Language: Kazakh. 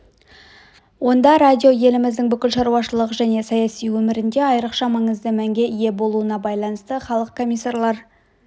онда радио еліміздің бүкіл шаруашылық және саяси өмірінде айрықша маңызды мәнге ие болуына байланысты халық комиссарлар